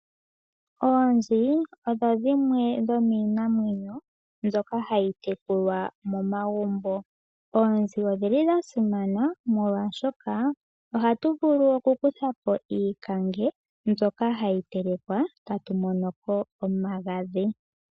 Oonzi odho dhimwe dhomiinamwenyo mbyoka hayi tekulwa momagumbo. Oonzi odhili dha simana molwashoka ohatu vulu ku kutha ko iikange mbyoka hayi telekwa ta tu mono ko omagadhi.